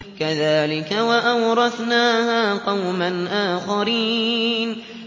كَذَٰلِكَ ۖ وَأَوْرَثْنَاهَا قَوْمًا آخَرِينَ